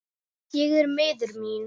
Ég er miður mín.